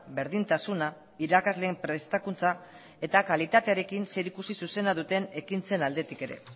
berdintasuna irakasleen prestakuntza eta kalitatearekin zerikusi zuzena duten ekintzen aldetik ere